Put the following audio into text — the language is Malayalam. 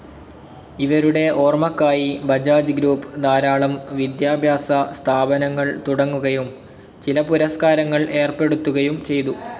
ഇവരുടെ ഓർമ്മക്കായി ബജാജ് ഗ്രൂപ്പ്‌ ധാരാളം വിദ്യാഭ്യാസസ്ഥാപനങ്ങൾ തുടങ്ങുകയും ചില പുരസ്കാരങ്ങൾ ഏർപ്പെടുത്തുകയും ചെയ്തു.